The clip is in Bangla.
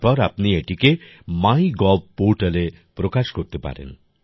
তারপর আপনি এটিকে মাইগভ পোর্টালে প্রকাশ করতে পারেন